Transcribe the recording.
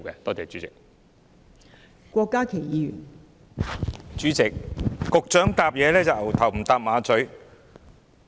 代理主席，局長的答覆可謂"牛頭不搭馬嘴"。